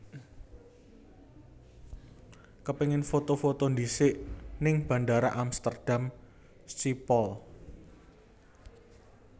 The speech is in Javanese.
Kepingin foto foto ndhisik ning Bandara Amsterdam Schiphol